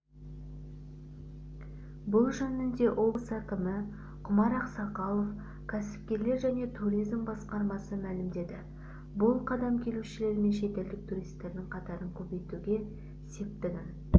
бұл жөнінде облыс әкімі құмар ақсақалов кәсіпкерлік және туризм басқармасы мәлімдеді бұл қадам келушілер мен шетелдік туристердің қатарын көбейтуге септігін